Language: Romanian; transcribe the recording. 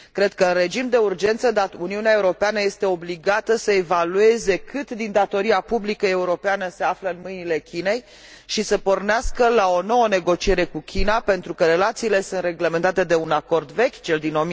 Cred că, în regim de urgență, Uniunea Europeană este obligată să evalueze cât din datoria publică europeană se află în mâinile Chinei și să pornească la o nouă negociere cu China pentru că relațiile sunt reglementate de un acord vechi, cel din